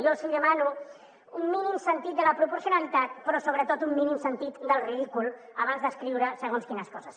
jo els hi demano un mínim sentit de la proporcionalitat però sobretot un mínim sentit del ridícul abans d’escriure segons quines coses